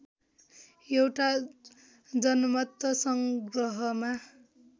एउटा जनमत संग्रहमा